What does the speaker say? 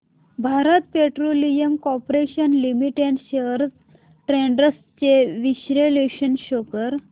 Bharat petroleum corporation limited shares trends चे विश्लेषण show कर